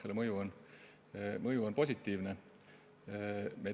Selle kõige mõju on positiivne.